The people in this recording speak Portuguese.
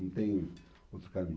Não tem outro caminho.